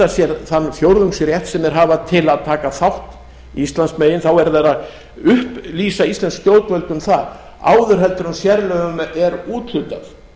sér þann fjórðungsrétt sem þeir hafa til að taka þátt íslandsmegin þá verða þeir að upplýsa íslensk stjórnvöld um það áður heldur en sérlögum er úthlutað